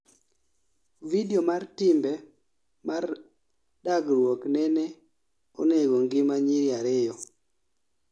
video mar timbe mar dagruok nene onego ngima nyiri ariyo